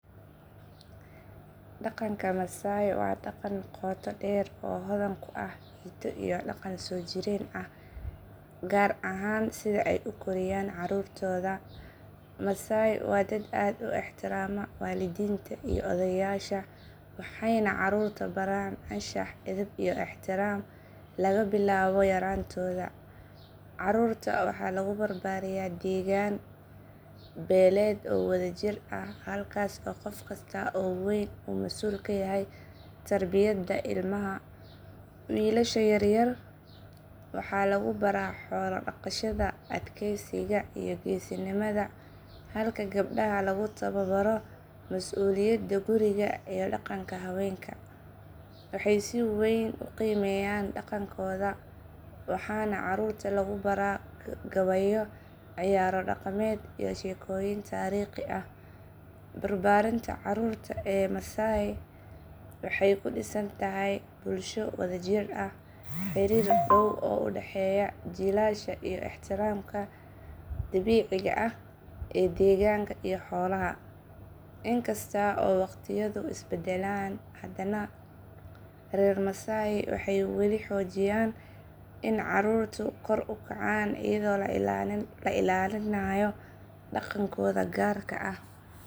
Dhaqanka Maasai waa dhaqan qoto dheer oo hodan ku ah hiddo iyo dhaqan soo jireen ah, gaar ahaan sida ay u koriyaan carruurtooda. Maasai waa dad aad u ixtiraama waalidiinta iyo odayaasha waxayna carruurta baraan anshax, edeb iyo ixtiraam laga bilaabo yaraantooda. Carruurta waxaa lagu barbaariyaa degaan beeleed oo wadajir ah halkaas oo qof kasta oo weyn uu mas’uul ka yahay tarbiyadda ilmaha. Wiilasha yar yar waxaa lagu baraa xoolo dhaqashada, adkeysiga, iyo geesinimada halka gabdhaha lagu tababaro mas’uuliyadda guriga iyo dhaqanka haweenka. Waxay si weyn u qiimeeyaan dhaqankooda waxaana carruurta lagu baraa gabayo, ciyaaro dhaqameed iyo sheekooyin taariikhi ah. Barbaarinta carruurta ee reer Maasai waxay ku dhisan tahay bulsho wadajir ah, xiriir dhow oo u dhexeeya jiilasha iyo ixtiraamka dabiiciga ah ee deegaanka iyo xoolaha. Inkasta oo waqtiyadu is beddeleen, haddana reer Maasai waxay weli xoojiyaan in carruurtu kor u kacaan iyadoo la ilaalinayo dhaqankooda gaarka ah.